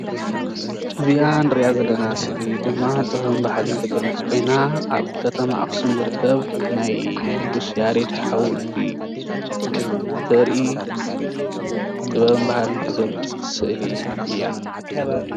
እዚኣ እንርኣ ዘለና ስእሊ ድማ ጥበብን ባህልን ትገልፅ ኮይና ኣብ ከተማ ኣክሱም ዝርከብ ናይ ቁድስ ያሬት ሓወልቲ ተርኢ ጥበብን ባህልን ትገልፅ ስእሊ እያ፡፡